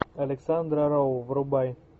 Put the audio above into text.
александра роу врубай